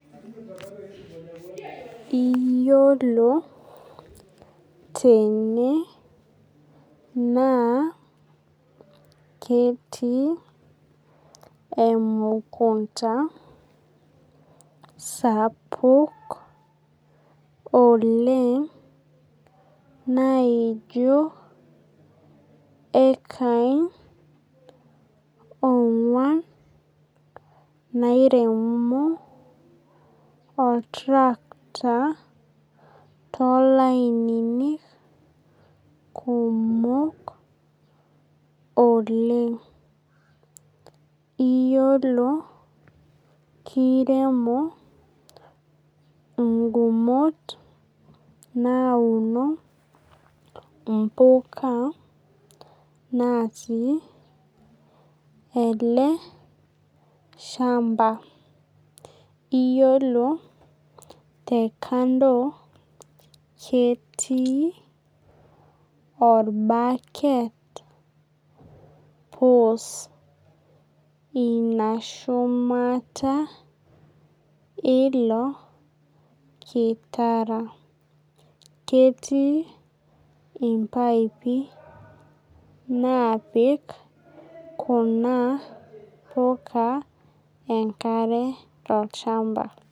Iyiolo tene naa ketii emukunta sapuk oleng' naijo ekain ong'uan nairemo oltirakita too lainini kumok oleng'. Iyiolo kiremo igumot nauno impuka naatu ele shamba. Iyiolo te kando ketii orbaket pus inashumata ilo kitara. Ketii impaipi napik kuna puka enkare tolchamba